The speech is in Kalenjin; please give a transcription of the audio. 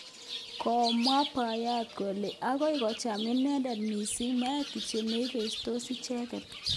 Komwach boyot kole agoi kocham inendet missing meet kityo neibestos icheget